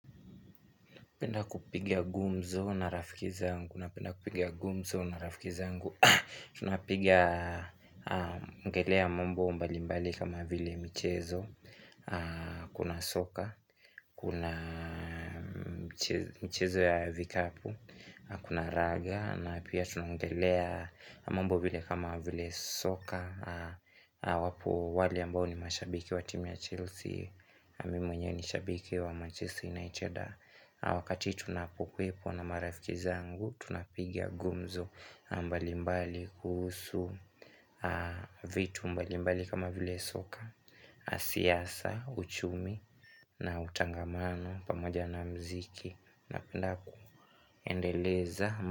Napenda kupiga ngumzo na rafiki zangu Tunapiga ongelea mambo mbali mbali kama vile michezo Kuna soka, kuna michezo ya vikapu, kuna raga na pia tunongelea mambo vile kama vile soka wapo wale ambao ni mashabiki wa timu ya Chelsea na mimi mwenyewe ni shabiki wa manchester united Wakati tunapokuepo na marafiki zangu, tunapiga ngumzo mbalimbali kuhusu vitu mbalimbali kama vile soka, siasa, uchumi na utangamano pamoja na muziki. Napenda kuendeleza.